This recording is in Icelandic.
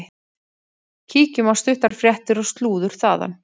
Kíkjum á stuttar fréttir og slúður þaðan.